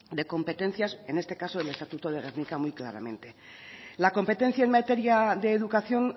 de competencias en este caso el estatuto de gernika muy claramente la competencia en materia de educación